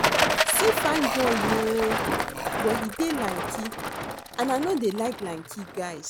See fine boy oo but he dey lanky and I no dey like lanky guys